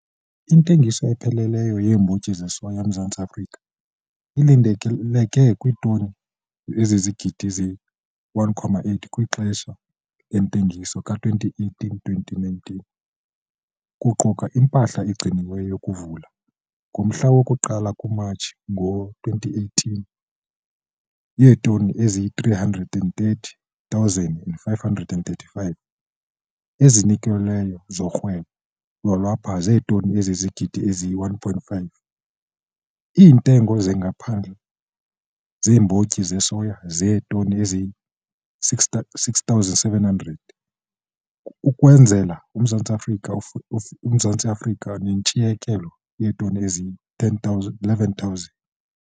Intengiso epheleleyo yeembotyi zesoya eMzantsi Afrika ilindeleke kwiitoni zezigidi ezi-1,8 kwixesha lentengiso ka-2018 - 2019, kuquka impahla egciniweyo yokuvula, ngomhla woku-1 kuMatshi ngo-2018, yeetoni ezingama-330 535, ezinikelweyo zorhwebo lwalapha zeetoni ezizigidi ezi-1,5, iintengo zangaphandle zeembotyi zesoya zeetoni zezigidi ezi-6 700 ukwenzela uMzantsi Afrika nentshiyekela yeetoni ezili-11 000.